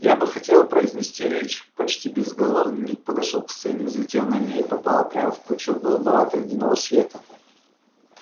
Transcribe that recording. я бы хотел произнести речь почти безголовый ник подошёл к сцене взлетел на ней и попал прямо в пучок голубовато-ледяного света